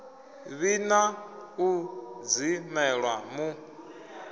vhi na u dzimelwa mu